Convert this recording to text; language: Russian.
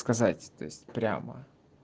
сказать то есть прямо